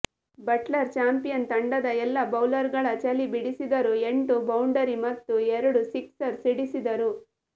Buttler champion ತಂಡದ ಎಲ್ಲಾ ಬೌಲರ್ಗಳ ಚಳಿ ಬಿಡಿಸಿದರು ಎಂಟು ಬೌಂಡರಿ ಮತ್ತು ಎರಡು ಸಿಕ್ಸರ್ ಸಿಡಿಸಿದರು